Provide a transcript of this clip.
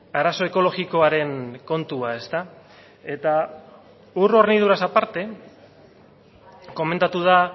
arazo ekologikoaren kontua ezta eta ur horniduraz aparte komentatu da